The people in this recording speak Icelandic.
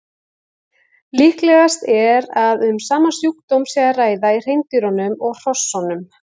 Líklegast er að um sama sjúkdóm sé að ræða í hreindýrunum og hrossunum.